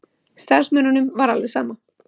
Starfsmönnunum var alveg sama.